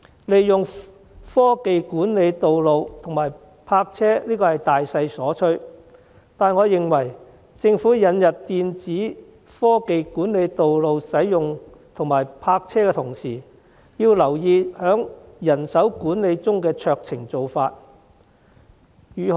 利用科技管理道路和泊車是大勢所趨，但我認為政府引入電子科技管理道路使用和泊車的同時，要留意在人手管理中的酌情做法。